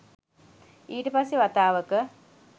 ඊට පස්සෙ වතාවක